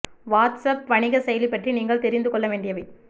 watts app வணிக செயலி பற்றி நீங்கள் தெரிந்து கொள்ள வேண்டியவை